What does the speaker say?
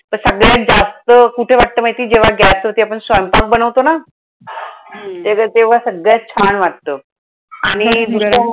तर सगळ्यात जास्त कुठे वाटतं माहितीये जेव्हा गॅसचं ते आपण स्वयंपाक बनवतो ना. हम्म त्याचं तेव्हा सगळ्यात छान वाटतं. आणि